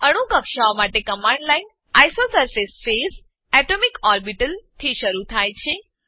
અણુ કક્ષાઓ માટે command line isosurface phase atomic orbital થી શરુ થાય છે